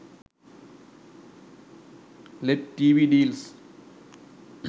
led tv deals